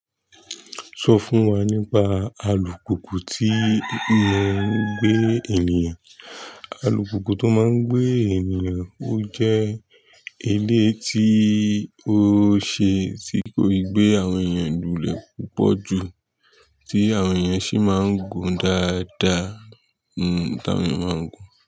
Sọ fún wa nípa alùpùpù tí n máa ń gbé ènìyàn. Alùpùpù tó máa ń gbé ènìyàn, ó jẹ́ eleyi tí ó ṣe é tí kò gbé àwọn ènìyàn lulẹ̀ púpọ̀ jù tí àwọn ènìyàn sì máa ń gùn dáadáa. Nígbà tí àwọn ènìyàn máa ń gùn.